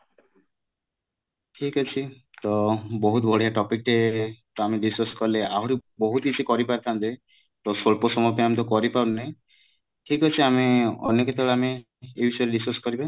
ଠିକ ଅଛି ତ ବହୁତ ବଢିଆ topic ଟେ ତ ଆମେ discuss କଲେ ଆହୁରି ବହୁତ କିଛି କରି ପାରି ଥାନ୍ତେ ତ ସ୍ୱଳ୍ପ ସମୟ ପାଇଁ ଆମେ ତ କରି ପାରୁନେ ଠିକ ଅଛି ଆମେ ଅନ୍ୟ କେତେବେଳେ ଆମେ ଏଇ ବିଷୟରେ discuss କରିବା